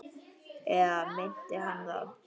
Eða minnti hana það?